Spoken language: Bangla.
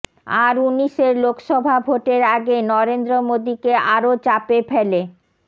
আর উনিশের লোকসভা ভোটের আগে নরেন্দ্র মোদীকে আরও চাপে ফেলে